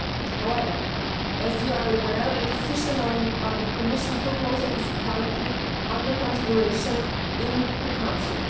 However, as you are aware, the decision on the Commission proposal is currently under consideration in the Council.